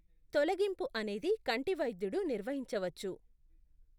తొలగింపు అనేది కంటి వైద్యుడు నిర్వహించవచ్చు.